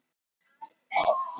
Flest er lengur uppi en líf manns.